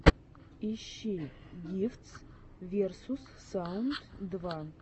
ищи гифтс версус саунд два